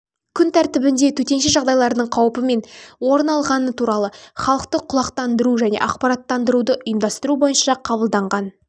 күн тәртібінде төтенше жағдайлардың қауіпі мен орын алған туралы халықты құлақтандыру және ақпараттандыруды ұйымдастыру бойынша қабылданған